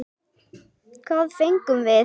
Hvað fengum við?